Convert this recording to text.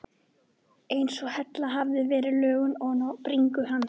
Eins og hella hefði verið lögð ofan á bringu hans.